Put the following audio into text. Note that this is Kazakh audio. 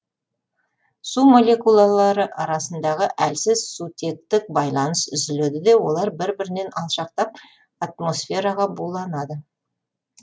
су молекулалары арасындағы әлсіз сутектік байланыс үзіледі де олар бір бірінен алшақтап атмосфераға буланады